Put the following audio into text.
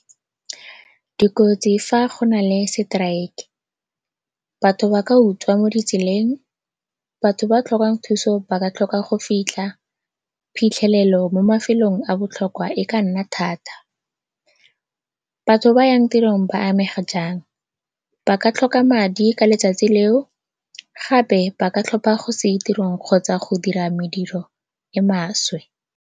Dikotsi fa go na le seteraeke, batho ba ka utswa mo ditseleng, batho ba ba tlhokang thuso ba ka tlhoka go fitlha, phitlhelelo mo mafelong a a botlhokwa e ka nna thata. Batho ba ba yang tirong ba amega jang? Ba ka tlhoka madi ka letsatsi leo gape ba ka tlhopha go se ye tirong kgotsa go dira mediro e e maswe.